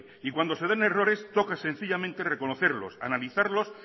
y cuando se dan errores toca sencillamente reconocerlos analizarlos